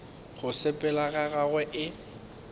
go sepela ga gagwe e